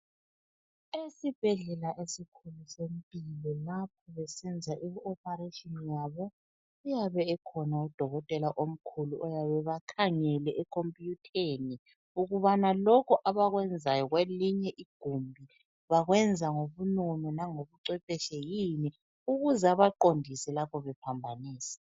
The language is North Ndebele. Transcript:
Esibhedlela esikhulu sempilo lapho besenza i ophareshini yabo uyabe ekhona udokotela omkhulu oyabe ebakhangele ekhompiyutheni ukubana lokhu abakwenzayo kwelinye igumbi bakwenza ngobunono langobu cwephetshekile ukuze ebaqondise lapho bephambanisa.